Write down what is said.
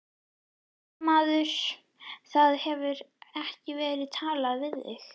Fréttamaður: Það hefur ekki verið talað við þig?